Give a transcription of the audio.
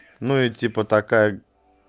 ну и типа такая